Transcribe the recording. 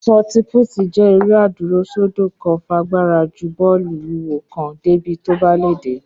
Ṣọọti-púùtì jéré adúró sódo kan fagbára ju bó̩ò̩lù wúwo kan débi tó bá lè dé